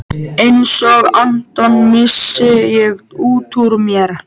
Einsog Anton, missi ég útúr mér.